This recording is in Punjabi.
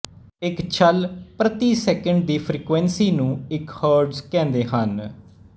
ਇੱਕ ਛੱਲ ਪ੍ਰਤੀ ਸਕਿੰਟ ਦੀ ਫਰੀਕਵੈਂਸੀ ਨੂੰ ਇੱਕ ਹਰਟਜ਼ ਕਹਿੰਦੇ ਹਨ